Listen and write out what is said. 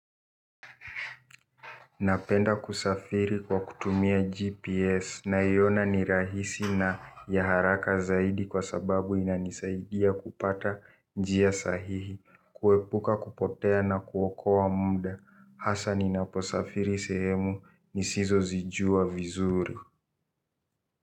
Napenda kusafiri kwa kutumia GPS naiona ni rahisi na ya haraka zaidi kwa sababu inanisaidia kupata njia sahihi, kuepuka kupotea na kuokoa muda. Hasa ninaposafiri sehemu nisizo zijua vizuri.